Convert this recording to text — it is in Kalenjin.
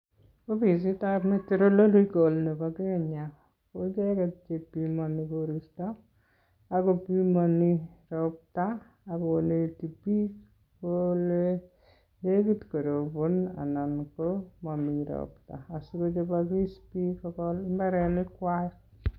Ofisitab meteorological nebo kenya, ko icheket che pimani koristo, akopimani ropta, akoneti biik kole nekit korobon anan tos mami ropta, asikochobokis biik kogol mbarenik kwak